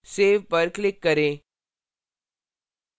save पर click करें